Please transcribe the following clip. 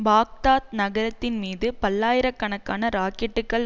Baghdad நகரத்தின் மீது பல்லாயிர கணக்கான ராக்கெட்டுகள்